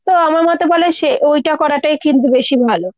তো আমার মতে বলে সে ঐটা করাটাই কিন্তু বেশি ভালো।